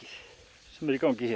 sem er í gangi hér